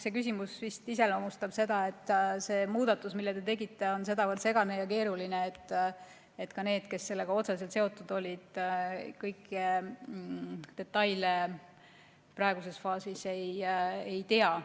See küsimus vist iseloomustab seda, et see muudatus, mille te tegite, on sedavõrd segane ja keeruline, et ka need, kes sellega otseselt seotud olid, kõiki detaile praeguses faasis ei tea.